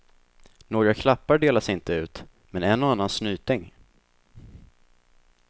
Några klappar delas inte ut, men en och annan snyting.